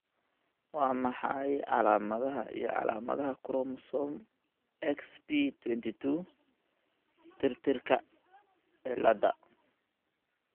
Waa maxay calaamadaha iyo calaamadaha Chromosome Xp22 tirtirka ciladha?